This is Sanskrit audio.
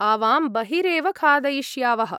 आवां बहिरेव खादयिष्यावः।